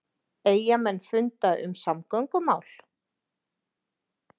Eyjamenn funda um samgöngumál